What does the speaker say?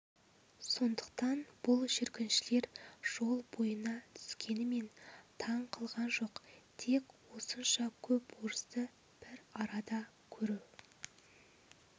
сондықтан бұл жүргіншілер жол бойына түскенімен таң қылған жоқ тек осынша көп орысты бір арада көру